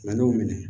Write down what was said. n'i y'o minɛ